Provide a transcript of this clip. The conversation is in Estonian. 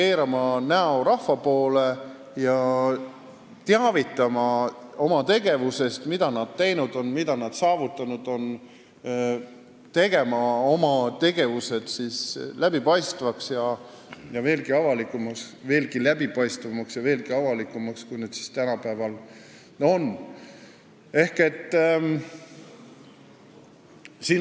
Nad peaks meid rohkem teavitama sellest, mida nad teinud ja saavutanud on, ning muutma oma tegevusi veelgi läbipaistvamaks ja avalikumaks, kui need tänapäeval on.